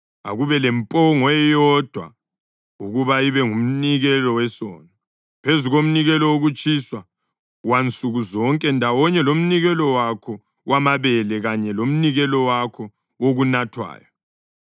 Akube lempongo eyodwa ukuba ibe ngumnikelo wesono, phezu komnikelo wokutshiswa wansuku zonke ndawonye lomnikelo wakho wamabele kanye lomnikelo wakho wokunathwayo.